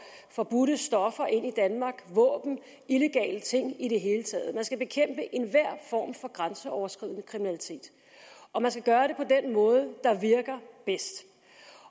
forbudte stoffer ind i danmark våben illegale ting i det hele taget man skal bekæmpe enhver form for grænseoverskridende kriminalitet og man skal gøre det på den måde der virker bedst